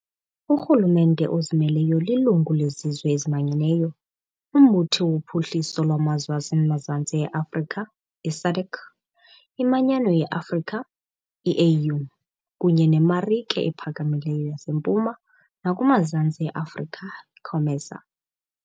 Urhulumente ozimeleyo lilungu leZizwe eziManyeneyo, uMbutho woPhuhliso lwaMazwe aseMazantsi e-Afrika i-SADC, iManyano ye-Afrika i-AU, kunye neMarike ePhakamileyo yaseMpuma nakumaZantsi e-Afrika COMESA.